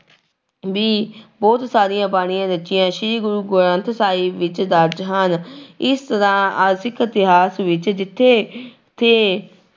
ਵੀ ਬਹੁਤ ਸਾਰੀਆਂ ਬਾਣੀਆਂ ਰਚੀਆਂ ਸ੍ਰੀ ਗੁਰੂ ਗ੍ਰੰਥ ਸਾਹਿਬ ਵਿੱਚ ਦਰਜ਼ ਹਨ ਇਸ ਤਰ੍ਹਾਂ ਸਿੱਖ ਇਤਿਹਾਸ ਵਿੱਚ ਜਿੱਥੇ ਥੇ